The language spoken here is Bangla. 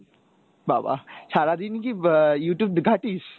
বাবাঃ সারাদিন কি আহ Youtube ঘাটিস ?